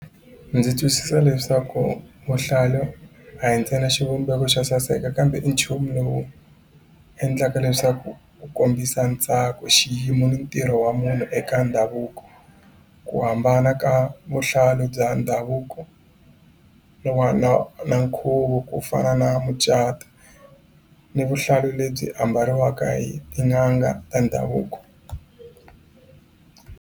Ndzi twisisa leswaku vuhlalu a hi ntsena xivumbeko xo saseka kambe i nchumu lowu endlaka leswaku ku kombisa ntsako xiyimo ni ntirho wa munhu eka ndhavuko ku hambana ka vuhlalu bya ndhavuko na wa na nkhuvo ku fana na mucato ni vuhlalu lebyi ambariwaka hi tin'anga ta ndhavuko.